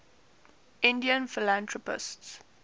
indian philanthropists